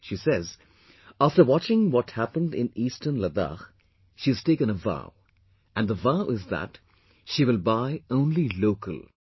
She says, after watching what happened in eastern Ladakh, she has taken a vow...and the vow is that she will buy only 'local'...